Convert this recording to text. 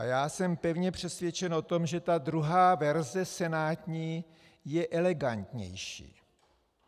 A já jsem pevně přesvědčen o tom, že ta druhá verze - senátní - je elegantnější.